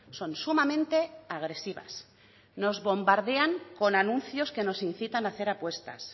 son sumamente agresivas nos bombardean con anuncios que nos incitan a hacer apuestas